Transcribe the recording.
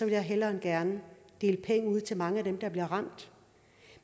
jeg hellere end gerne dele penge ud til mange af dem der bliver ramt